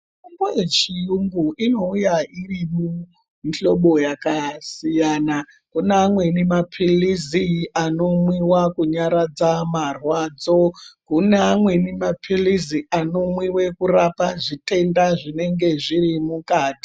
Mitombo yechiyungu inouya iri mumuhlobo yakasiyana kuna amweni mapilisi inomwiwa kunyaradza marwadzo kuna amweni mapilisi anorape zvitenda zvinenge zviri mukati.